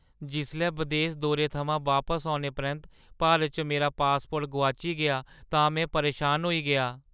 जिसलै बदेस दौरे थमां बापस औने परैंत्त भारत च मेरा पासपोर्ट गोआची गेआ तां में परेशान होई गेआ।